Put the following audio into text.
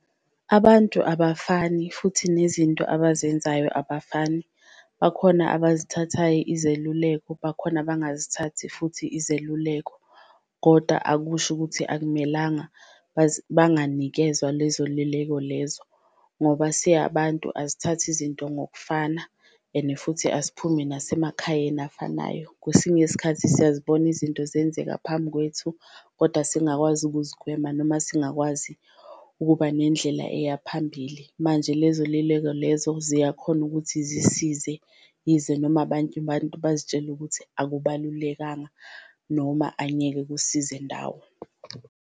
Abantu abafani futhi nezinto abazenzayo abafani bakhona abazithathayo izeluleko, bakhona abangazithathi futhi izeluleko koda akusho ukuthi akumelanga banganikezwa lezo lileko lezo. Ngoba siyabantu asithathi izinto ngokufana and futhi asiphumi nasemakhayeni afanayo, kwesinye isikhathi siyazibona izinto zenzeka phambi kwethu kodwa singakwazi ukuzigwema, noma singakwazi ukuba nendlela eya phambili. Manje lezo lileko lezo ziyakhona ukuthi zisize yize noma abantu abantu bazitshela ukuthi akubalulekanga noma angeke kusize ndawo.